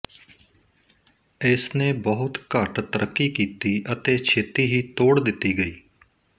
ਇਸਨੇ ਬਹੁਤ ਘੱਟ ਤਰੱਕੀ ਕੀਤੀ ਅਤੇ ਛੇਤੀ ਹੀ ਤੋੜ ਦਿੱਤੀ ਗਈ